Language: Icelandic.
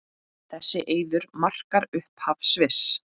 Þessi eiður markar upphaf Sviss.